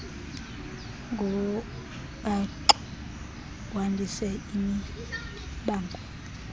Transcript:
ngobaxo wandise imibango